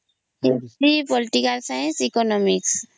history political ସାଇଁସଁ economics